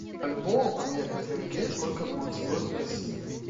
бальбоа поменять на тенге сколько будет стоить в россии